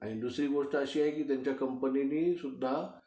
आणि दुसरी गोष्ट अशी आहे की त्यांच्या कंपनीनी सुद्धा